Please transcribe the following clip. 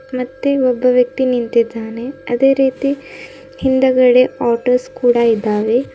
ಮತ್ತೆ ಒಬ್ಬ ವ್ಯಕ್ತಿ ನಿಂತಿದ್ದಾನೆ ಅದೇ ರೀತಿ ಹಿಂದುಗಡೆ ಆಟೋಸ್ ಕೂಡ ಇದ್ದಾವೆ.